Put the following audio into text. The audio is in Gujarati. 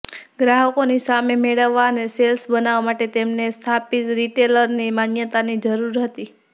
ગ્રાહકોની સામે મેળવવા અને સેલ્સ બનાવવા માટે તેમને સ્થાપિત રિટેલરની માન્યતાની જરૂર હતી